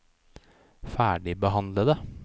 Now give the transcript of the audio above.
ferdigbehandlede